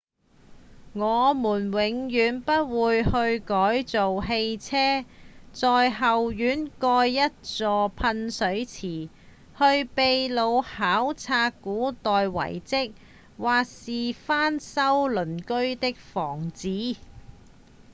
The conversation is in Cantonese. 我們永遠不會去改造汽車、在後院蓋一座噴水池、去祕魯考察古代遺跡或是翻修鄰居的房子